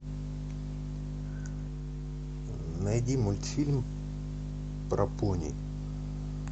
найди мультфильм про пони